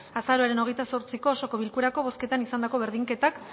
azaroaren hogeita zortziko osoko bilkurako bozketan izandako berdinketak